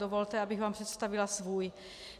Dovolte, abych vám představila svůj.